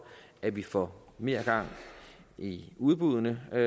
at vi får mere gang i udbuddene og